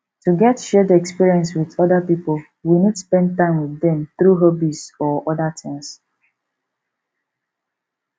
to get shared experience with oda pipo we need spend time with dem through hobbies or oda things